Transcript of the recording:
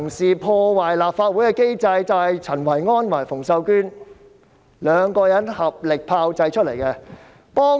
所以，破壞立法會機制的人就是陳維安和馮秀娟兩人，由他們合力炮製而想出來的辦法。